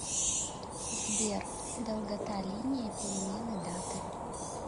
сбер долгота линия перемены даты